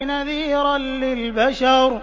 نَذِيرًا لِّلْبَشَرِ